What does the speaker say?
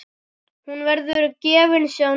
Hún verður gefins á netinu.